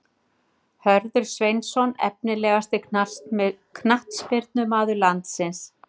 Hörður Sveinsson Efnilegasti knattspyrnumaður landsins?